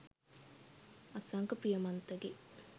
අසංක ප්‍රියමන්තගෙ '